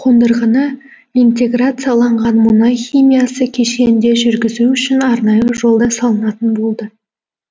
қондырғыны интеграцияланған мұнай химиясы кешенінде жүргізу үшін арнайы жол да салынатын болды